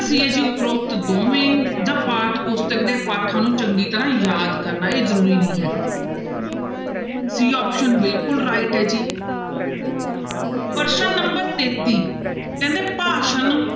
c ਹੈ ਜੀ ਉਪਰੋਕਤ ਦੋਵੇਂ ਜਾਂਂ ਪਾਠ ਪੁਸਤਕ ਦੇ ਪਾਠਾਂ ਨੂੰ ਚੰਗੀ ਤਰ੍ਹਾਂ ਯਾਦ ਕਰਨਾ ਇਹ ਜ਼ਰੂਰ ਨਹੀਂ ਹੈਗਾ c option ਬਿਲਕੁਲ right ਹੈ ਜੀ ਪ੍ਰਸ਼ਨ number ਤੇਤੀ ਕਹਿੰਦੇ ਭਾਸ਼ਾ ਨੂੰ